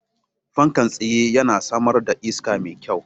Fankan tsaye yana samar da iska mai kyau.